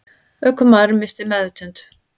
Ökumaðurinn missti meðvitund